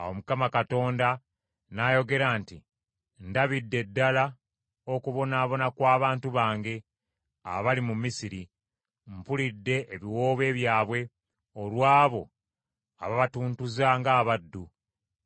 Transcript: Awo Mukama Katonda n’ayogera nti, “Ndabidde ddala okubonaabona kw’abantu bange abali mu Misiri. Mpulidde ebiwoobe byabwe olw’abo ababatuntuza ng’abaddu;